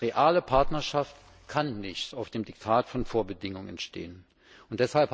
Eine reale Partnerschaft kann nicht auf dem Diktat von Vorbedingungen basieren.